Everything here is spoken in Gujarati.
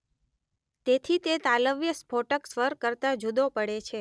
તેથી તે તાલવ્ય સ્ફોટક સ્વર કરતા જુદો પડે છે